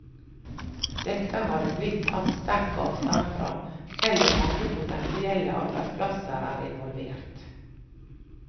Dette har det blitt tatt sterk avstand fra, selv om mange potensielle arbeidsplasser er involvert.